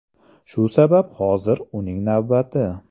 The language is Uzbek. Shu sabab hozir uning navbati.